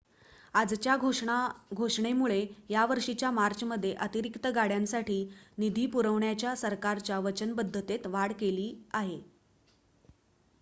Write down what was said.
आजच्या घोषणेमुळे या वर्षीच्या मार्चमध्ये अतिरिक्त गाड्यांसाठी निधी पुरवण्याच्या सरकारच्या वचनबद्धतेत वाढ केली आहे